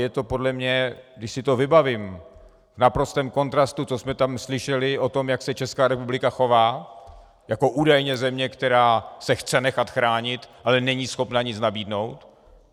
Je to podle mě, když si to vybavím, v naprostém kontrastu, co jsme tam slyšeli o tom, jak se Česká republika chová jako údajně země, která se chce nechat chránit, ale není schopna nic nabídnout.